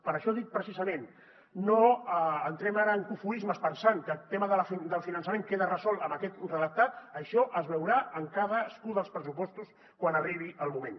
per això dic precisament no entrem ara en cofoismes pensant que el tema del finançament queda resolt amb aquest redactat això es veurà en cadascun dels pressupostos quan arribi el moment